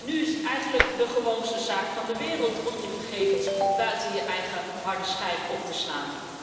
Nu is het eigenlijk de gewoonste zaak van de wereld om je gegevens buiten je eigen harde schijf op te slaan.